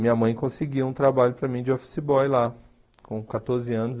Minha mãe conseguiu um trabalho para mim de office boy lá, com quatorze anos.